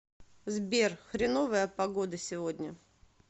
сбер хреновая погода сегодня